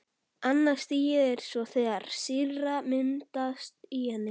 Annað stigið er svo þegar sýra myndast í henni.